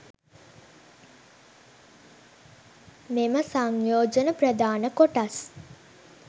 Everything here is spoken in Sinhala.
මෙම සංයෝජන ප්‍රධාන කොටස්